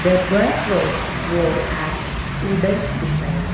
the back rode wall has wooden design.